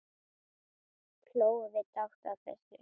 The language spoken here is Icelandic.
Hlógum við dátt að þessu.